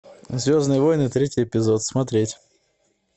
звездные войны третий эпизод смотреть